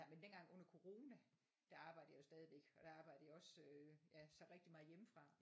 Men dengang under corona der arbejdede jeg jo stadigvæk og der arbejdede jeg også ja så rigtig meget hjemmefra